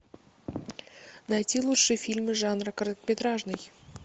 найти лучшие фильмы жанра короткометражный